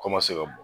Kɔmase ka bɔ